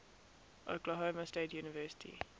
oklahoma state university